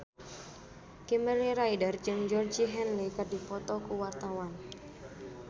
Kimberly Ryder jeung Georgie Henley keur dipoto ku wartawan